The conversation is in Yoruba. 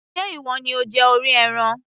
ṣe ìwọ ni ó jẹ orí ẹran